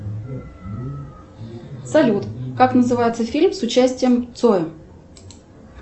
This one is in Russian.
салют как называется фильм с участием цоя